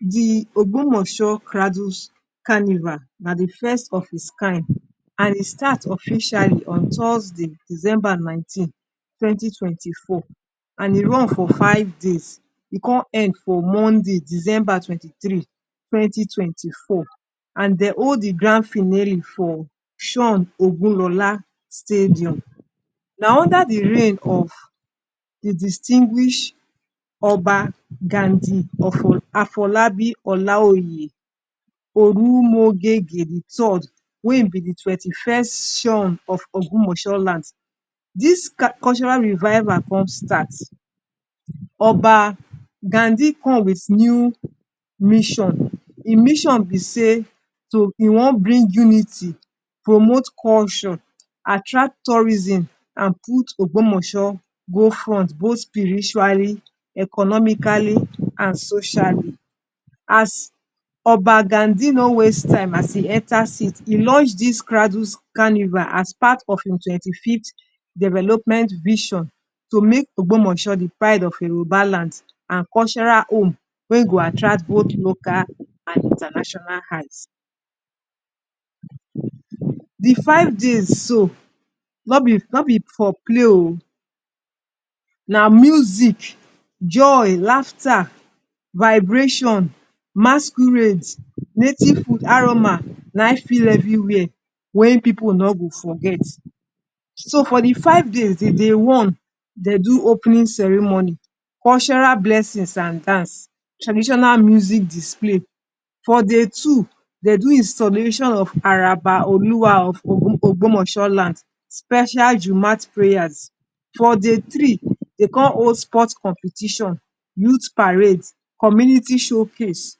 The Ogbomoso cradles carnival na the first of it kind, and e start officiali on Thursday, December nineteen, twenty twenty four. And e run for five days e con end for Monday December twenty three, twenty twenty four. And dey hold the grand finery for shon stadium, na under the reign of the distinguish Oba Gandi Afolabi Ola oye, Olumogege the third wey im be di twenty first shon of Ogbomoso land. Dis cultural revival con start, Oba gandi come with new mission, im mission be sey e wan bring unity, promote culture, attract tourism and put Ogbomoso go front both spirituali, economikali and sociali. As Oba Gandi no waste time as e enter seat, e lunch dis cradle carnival as part of his twenty fifth development vision to make Ogbomoso the pride of Yoruba land and cultural home wey go attract both local and international eyes. di five days so no be for play o, na music, joy, laughter, vibration, masquerade, native food aroma na in fill everywhere wey pipu no go forget. So for the five days: Day one, dey do opening serimoni, cultural blessings and dance, traditional music display. For day two, dey do installation of Araba Oluwa of Ogbomoso land, special Jumat preyas. For day three, dey con hold sport competition, youth parades, community show case.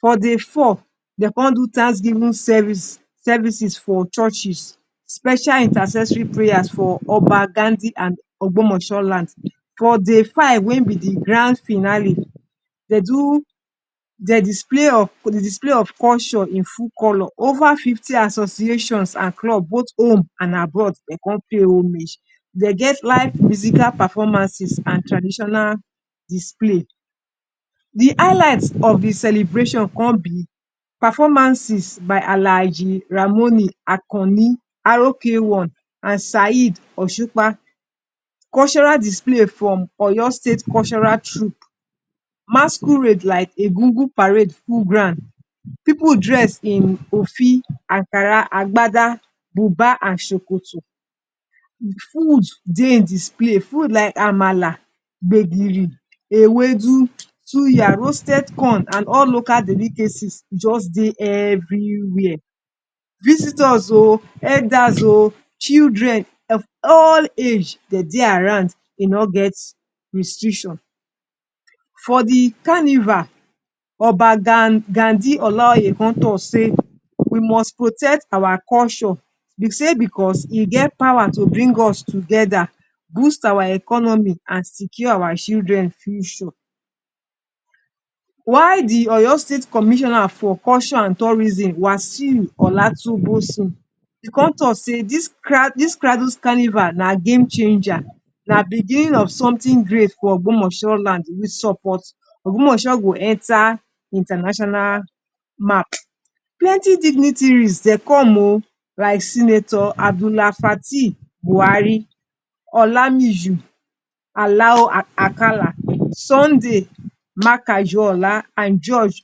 For day four, dey con do tanksgivin services for churches special intercessory prayer for Oba Gandi and Ogbomoso land. For day five wey be the grand finali, de do dey display display of cunture in ful color, ova fifti association and club, both home and abroad dey con pay homage. Dey get life physical performances and traditional display. The alight of the celebration con be performances by Alhaiji Ramoni Akanni RK1 and Sa’id Oshukpa, cultural display from Oyo state cultural troop, masquerade like egugun parade full ground, pipu dress in ofi, agbada, Ankara, buba and sokoto. Food dey display, food like amala, gbegiri, ewedu, suya, roasted corn and all local delicacies just dey every where. Visitors o, elders o, children of all age dey dey around e no get restriction. For the carnival, Oba Gandi Olaoye con talk sey, we must protect our culture sey because e get power to bring us togeda boost our economi and secure our children future. Why the Oyo state commissioner for culture and tourism, Wasiu Olatunbosun e con talk sey dis cradles carnival na game chenja na biginin of somtin great for Ogbomoso land support, Ogbomoso go enter international map. Plenty dignitaries dey come o like senator Abdula Fatil Buhari, Olamiju Alao Akala, Sunday makaju Ola and george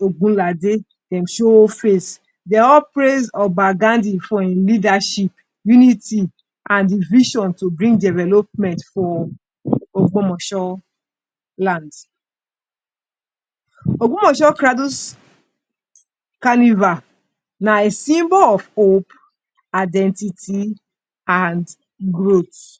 Ogbunlade dem show face. Dey all praise Oba Gandi for im leadership, unity, and im vision to bring development for Ogbomoso land. Ogbomoso cradles carnival na symbol of hope, identity and growth.